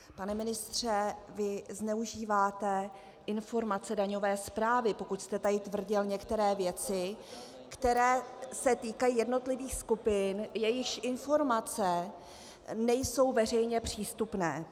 Pane ministře, vy zneužíváte informace daňové správy, pokud jste tady tvrdil některé věci, které se týkají jednotlivých skupin, jejichž informace nejsou veřejně přístupné.